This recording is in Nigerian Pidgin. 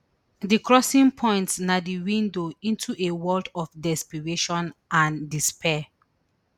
di crossing point na di window into a world of desperation and despair